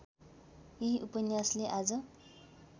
यही उपन्यासले आज